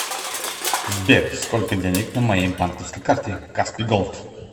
сбер сколько денег на моей банковской карте каспий голд